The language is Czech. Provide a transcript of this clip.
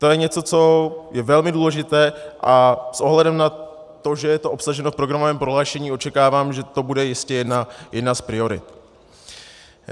To je něco, co je velmi důležité, a s ohledem na to, že je to obsaženo v programovém prohlášení, očekávám, že to bude jistě jedna z priorit.